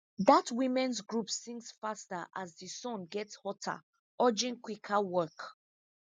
dat womens group sings faster as di sun gets hotter urging quicker work